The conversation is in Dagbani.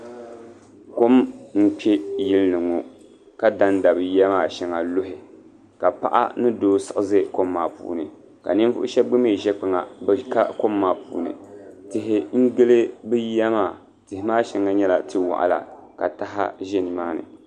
Kɔm n kpe yili ni ŋɔ ka da n da bi yiya maa shɛŋa luhi ka paɣa ni doo siɣi za kɔm maa puuni ka ninvuɣu shɛba gba mi ʒɛ kpaŋa bi ka kɔm maa puuni tihi n gili bi yiya maa tihi maa shɛŋa nyɛ tia waɣila ka taha ʒɛ ni maa ni.